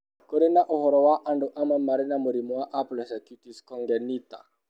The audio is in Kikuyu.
Kũrĩ na ũhoro wa andũ amwe marĩ na mũrimũ wa aplasia cutis congenita.